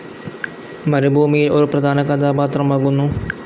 മരുഭൂമിയിൽ ഒരു പ്രധാന കഥാപാത്രമാകുന്നു.